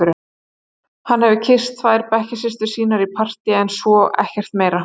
Hann hefur kysst tvær bekkjarsystur sínar í partíi en svo ekkert meira.